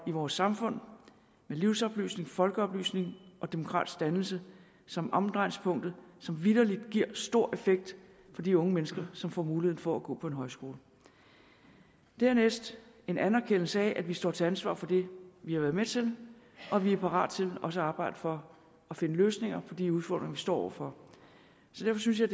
i vores samfund med livsoplysning folkeoplysning og demokratisk dannelse som omdrejningspunktet som vitterlig giver stor effekt for de unge mennesker som får muligheden for gå på en højskole dernæst en anerkendelse af at vi står til ansvar for det vi har været med til og vi er parat til også at arbejde for at finde løsninger for de udfordringer vi står over for så derfor synes jeg